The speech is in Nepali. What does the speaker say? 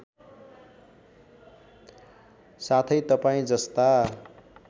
साथै तपाईँ जस्ता